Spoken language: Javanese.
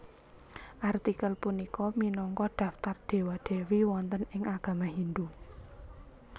Artikel punika minangka daftar Dewa Dewi wonten ing agama Hindu